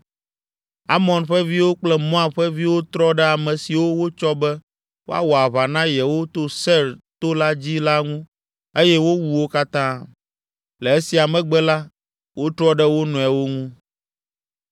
Amon ƒe viwo kple Moab ƒe viwo trɔ ɖe ame siwo wotsɔ be woawɔ aʋa na yewo to Seir to la dzi la ŋu eye wowu wo katã. Le esia megbe la, wotrɔ ɖe wo nɔewo ŋu!